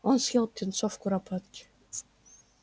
он съел птенцов куропатки